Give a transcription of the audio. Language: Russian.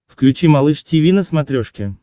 включи малыш тиви на смотрешке